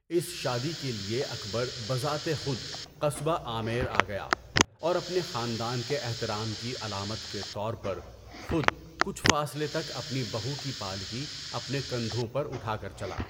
اس شادی کے لیے اکبر بذات خود قصبہ آمیر گیا اور اپنے خاندان کے احترام کی علامت کے طور پر خود کچھ فاصلے تک اپنی بہو کی پالکی اپنے کندھوں پر اٹھا کر چلا۔